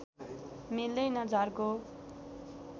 मिल्दैन झर्को